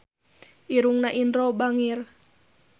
Irungna Indro bangir